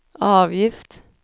avgift